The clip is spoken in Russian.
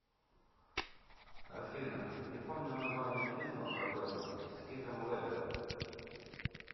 афина не помню название фильма про бэтмэна с хитом леджером